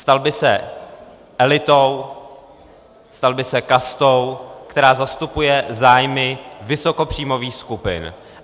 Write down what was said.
Stal by se elitou, stal by se kastou, která zastupuje zájmy vysokopříjmových skupin.